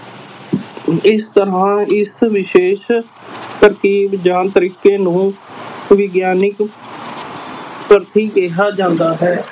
ਇਸ ਤਰ੍ਹਾਂ ਇਸ ਵਿਸ਼ੇਸ਼ ਤਰਕੀਬ ਜਾਂ ਤਰੀਕੇ ਨੂੰ ਵਿਗਿਆਨਕ ਕਿਹਾ ਜਾਂਦਾ ਹੈ।